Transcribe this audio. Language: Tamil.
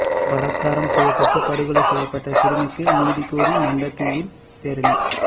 பலாத்காரம் செய்யப்பட்டு படுகொலை செய்யப்பட்ட சிறுமிக்கு நீதிகோரி மண்டைதீவில் பேரணி